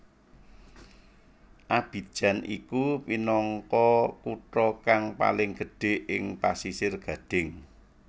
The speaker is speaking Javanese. Abidjan iku minangka kutha kang paling gedhé ing Pasisir Gadhing